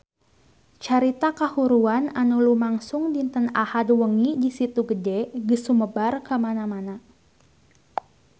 Carita kahuruan anu lumangsung dinten Ahad wengi di Situ Gede geus sumebar kamana-mana